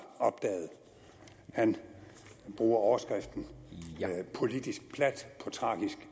opdaget han bruger overskriften politisk plat på tragisk